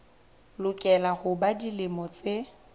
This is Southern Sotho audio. lokela ho ba dilemo tse